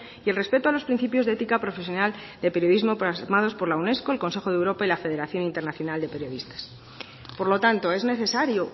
y el respeto a los principios de éticas profesional de periodismo plasmadas por la unesco el consejo de europa y la federación internacional de periodistas por lo tanto es necesario